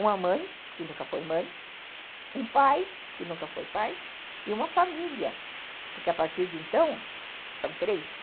uma mãe, que nunca foi mãe, um pai, que nunca foi pai, e uma família, porque a partir de então são três.